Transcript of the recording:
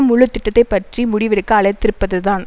முழு திட்டத்தை பற்றி முடிவெடுக்க அழைத்திருப்பதுதான்